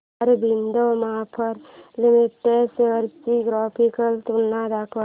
Aurobindo pharma limited shares ची graphical तुलना दाखव